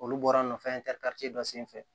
Olu bɔra nɔfɛ dɔ senfɛ